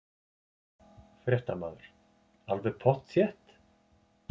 Fréttamaður: Alveg pottþétt?